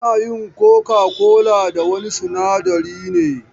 Ana yin coca-cola da wani sinadari ne.